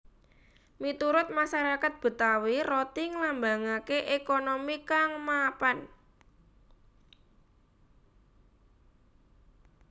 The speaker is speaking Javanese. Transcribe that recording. Miturut masarakat Betawi roti nglambangaké ékonomi kang mapan